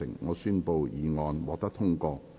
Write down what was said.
我宣布議案獲得通過。